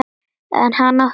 En hann átti Rósu að.